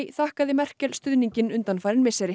þakkaði Merkel stuðninginn undanfarin misseri